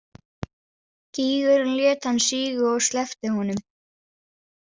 Gýgurin lét hann síga og sleppti honum.